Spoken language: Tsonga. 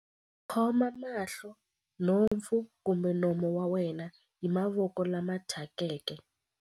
Khoma mahlo, nhompfu kumbe nomo wa wena hi mavoko lama thyakeke.